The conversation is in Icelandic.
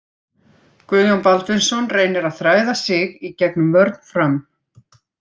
Guðjón Baldvinsson reynir að þræða sig í gegnum vörn Fram.